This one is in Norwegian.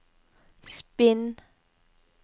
spinn